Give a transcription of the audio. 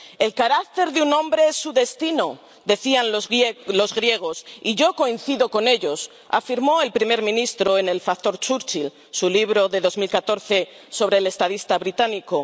El carácter de un hombre es su destino, decían los griegos. Y yo coincido con ellos, afirmó el primer ministro en El factor Churchill su libro de 2014 sobre el estadista británico.